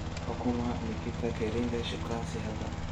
waa kuma nikita kering shukaansi hadda